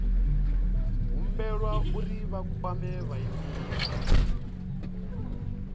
humbelwa uri vha kwame vhaimeleli